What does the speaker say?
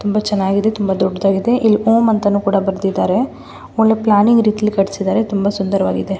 ತುಂಬಾ ಚೆನಾಗಿದೆ ತುಂಬಾ ದೊಡ್ಡದಾಗಿದೆ ಇಲ್ ಓಂ ಅಂತಾನೂ ಕೂಡ ಬರೆದಿದ್ದರೆ ಒಳ್ಳೆ ಪ್ಲಾನಿಂಗ್ ರೀತಿಯಲ್ಲಿ ಕಟ್ಟಿಸಿದ್ದಾರೆ ತುಂಬಾ ಸುಂದರವಾಗಿದೆ.